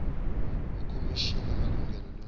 ikhomishini yemalungelo eluntfu